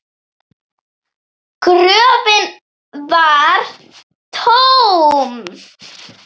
Gröfin var tóm!